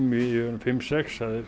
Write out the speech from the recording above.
fimm sex